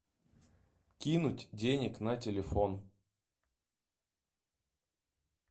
кинуть денег на телефон